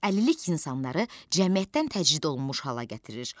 Əlillik insanları cəmiyyətdən təcrid olunmuş hala gətirir.